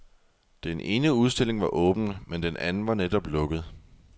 Den ene udstilling var åben, men den anden var netop lukket.